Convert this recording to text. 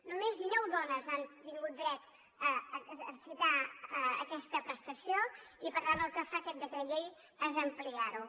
només dinou dones han tingut dret a exercitar aquesta prestació i per tant el que fa aquest decret llei és ampliar ho